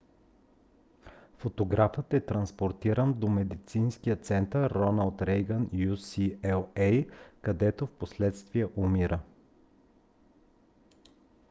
фотографът е транспортиран до медицинския център роналд рейгън ucla където впоследствие умира